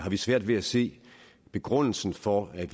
vi svært ved at se begrundelsen for at